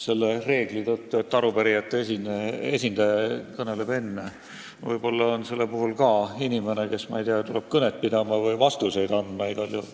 Jah, reegel on, et arupärijate esindaja kõneleb kõigepealt, aga Hanno Pevkur tuleb pärast mind samuti kõnet pidama ja ehk ka vastuseid andma.